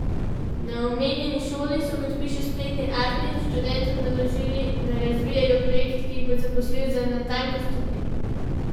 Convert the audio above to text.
Na omenjeni šoli so, kot piše spletni Artnet, študentom naložili, naj razvijejo projekt, ki jih bo zaposlil natanko sto dni.